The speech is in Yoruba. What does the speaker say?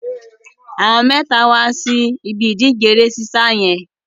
Àwọn mẹ́ta wá sí ibi ìdíje eré sísá yẹn.